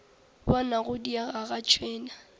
bona go diega ga tšhwene